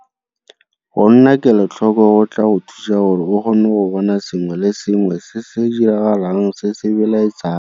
Go nna kelotlhoko go tla go thusa gore o kgone go bona sengwe le sengwe se se diragalang se se belaetsang.